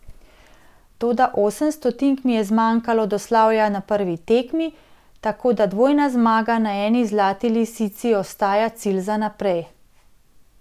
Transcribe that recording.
Toda osem stotink mi je zmanjkalo do slavja na prvi tekmi, tako da dvojna zmaga na eni Zlati lisici ostaja cilj za naprej.